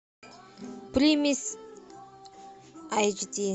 примесь айч ди